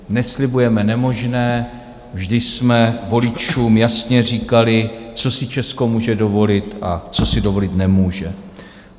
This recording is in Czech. Neslibujeme nemožné, vždy jsme voličům jasně říkali, co si Česko může dovolit, a co si dovolit nemůže.